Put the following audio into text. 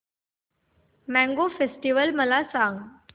mango festival मला सांग